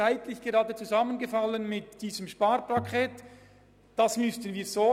Zeitlich ist dies gerade mit diesem Sparpaket zusammengefallen.